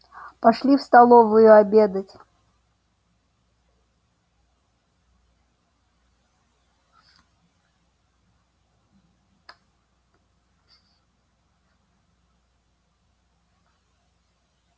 пошли в столовую обедать